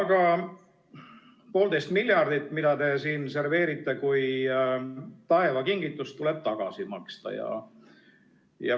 Aga poolteist miljardit, mida te siin serveerite kui taeva kingitust, tuleb tagasi maksta.